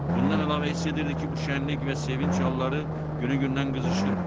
Bundan əlavə hiss edirdi ki, bu şənlik və sevinc halları günü-gündən qızışır.